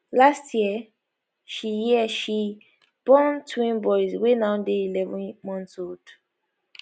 last year she year she born twin boys wey now dey eleven months old